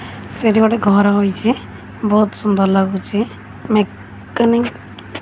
ସେଠି ଗୋଟେ ଘର ହୋଇଛି ବହୁତ୍ ସୁନ୍ଦର୍ ଲାଗୁଚି ମେକାନିକ --